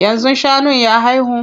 Yanzu shanun ya haihu?